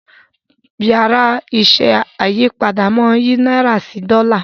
Yàrá iṣẹ́ ayípadà món yí náírà sí Dòla.